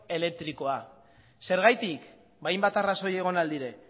elektrikoak zergatik hainbat arrazoi egon ahal dira